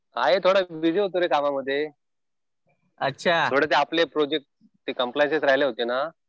आहे थोडं बिझी होतो रे काम मध्ये. थोडं ते आपले प्रोजेक्ट्स ते कम्प्लायसेस राहिले होते ना.